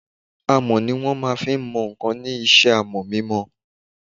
Amọ̀ ni wọ́n fí n mọ ǹkan ní isẹ́ amọ̀ mímọ